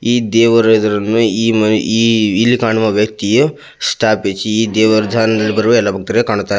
ಈ ದೇವರು ಎದುರನ್ನು ಇಲ್ಲಿ ಕಾಣುವ ವ್ಯಕ್ತಿಯು ಸ್ಥಾಪಿಸಿ ಇಲ್ಲಿ ಬರುವ ಎಲ್ಲ ಭಕ್ತರು ಕಾಣುತ್ತಾರೆ.